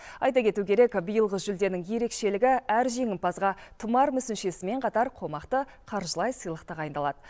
айта кету керек биылғы жүлденің ерекшелігі әр жеңімпазға тұмар мүсіншесімен қатар қомақты қаржылай сыйлық тағайындалады